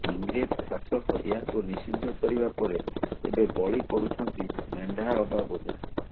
ଇଂରେଜ ଶାସକ ଏହାକୁ ନିଷିଦ୍ଧ କରିବା ପରେ ଏବେ ବଳି ପଡ଼ୁଛନ୍ତି ମେଣ୍ଡା ଅବା ବୋଦା